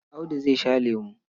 Audu zai sha lemo.